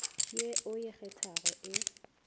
ye o e kgethago e